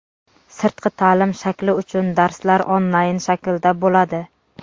Sirtqi ta’lim shakli uchun darslar onlayn shaklda bo‘ladi.